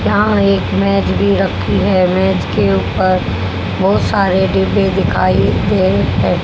यहां एक मेज भी रखी है मेज के ऊपर बहुत सारे डिब्बे दिखाई दे रहे है।